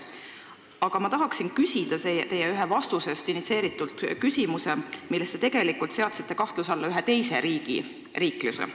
Aga ma tahan küsida küsimuse, mis on initsieeritud ühest teie vastusest, milles te seadsite tegelikult kahtluse alla ühe teise riigi riikluse.